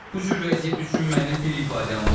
Bu cür vəziyyət üçün mənim bir ifadəm var.